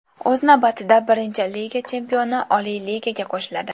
O‘z navbatida, Birinchi Liga chempioni Oliy Ligaga qo‘shiladi.